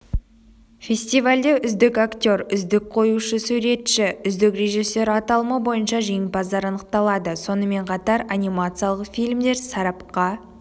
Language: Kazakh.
фестивальде үздік актер үздік қоюшы-суретші үздік режиссер аталымы бойынша жеңімпаздар анықталады сонымен қатар анимациялық фильмдер сарапқа